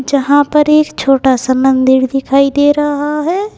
जहां पर एक छोटा सा मंदिर दिखाई दे रहा है।